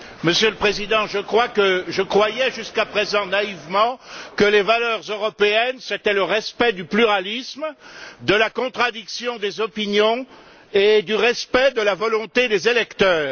Monsieur le Président, je croyais jusqu'à présent, naïvement, que les valeurs européennes, c'était le respect du pluralisme, de la contradiction des opinions et de la volonté des électeurs.